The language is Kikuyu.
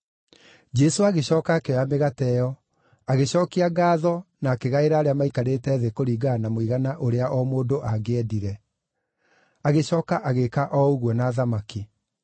Jesũ agĩcooka akĩoya mĩgate ĩyo, agĩcookia ngaatho na akĩgaĩra arĩa maikarĩte thĩ kũringana na mũigana ũrĩa o mũndũ angĩendire. Agĩcooka agĩĩka o ũguo na thamaki.